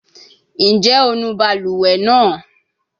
Njẹ o nu baluwe naa?